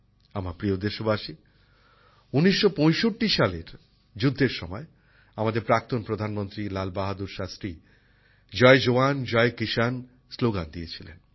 আমার প্রিয় দেশবাসী ১৯৬৫ সালের যুদ্ধের সময় আমাদের প্রাক্তন প্রধানমন্ত্রী লাল বাহাদুর শাস্ত্রী জয় জওয়ান জয় কিষান স্লোগান দিয়েছিলেন